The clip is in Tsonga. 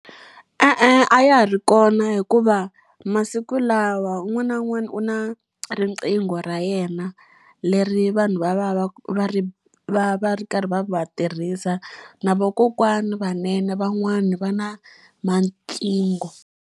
E-e, a ya ha ri kona hikuva masiku lawa un'wana na un'wana u na riqingho ra yena, leri vanhu vanhu va va va va ri va va ri karhi va va tirhisa. Na vakokwana vanene van'wani va tinqingho.